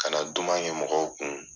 Kana duman kɛ mɔgɔw kun.